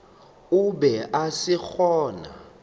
o be a se gona